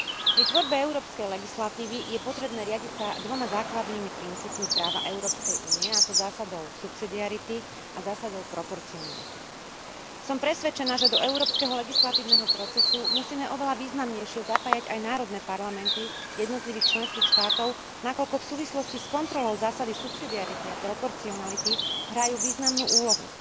Pri tvorbe európskej legislatívy je potrebné riadiť sa dvoma základnými princípmi práva Európskej únie, a to zásadou subsidiarity a zásadou proporcionality. Som presvedčená, že do európskeho legislatívneho procesu musíme oveľa významnejšie zapájať aj národné parlamenty jednotlivých členských štátov, nakoľko v súvislosti s kontrolou zásady subsidiarity a proporcionality hrajú významnú úlohu.